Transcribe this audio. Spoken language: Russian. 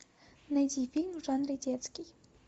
найди фильм в жанре детский